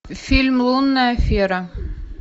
фильм лунная афера